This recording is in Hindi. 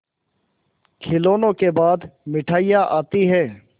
खिलौनों के बाद मिठाइयाँ आती हैं